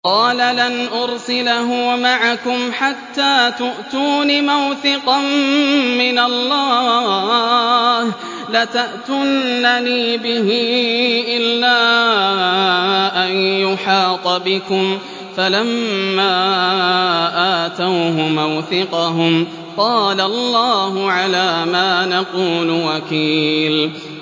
قَالَ لَنْ أُرْسِلَهُ مَعَكُمْ حَتَّىٰ تُؤْتُونِ مَوْثِقًا مِّنَ اللَّهِ لَتَأْتُنَّنِي بِهِ إِلَّا أَن يُحَاطَ بِكُمْ ۖ فَلَمَّا آتَوْهُ مَوْثِقَهُمْ قَالَ اللَّهُ عَلَىٰ مَا نَقُولُ وَكِيلٌ